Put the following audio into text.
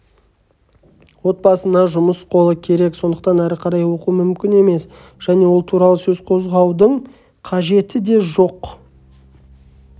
отбасына жұмыс қолы керек сондықтан әрі қарай оқу мүмкін емес және ол туралы сөз қозғаудың қажеті де жоқ